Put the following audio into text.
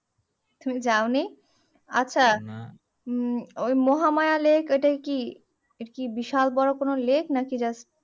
তুমি যাওনি আচ্ছা উম ওই মহামায়া lake এটাই কি এরকি বিশাল বড়ো কোনো lake নাকি just